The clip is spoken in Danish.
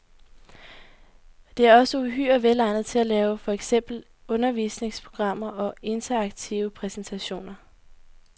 Det er også uhyre velegnet til at lave for eksempel undervisningsprogrammer og interaktive præsentationer.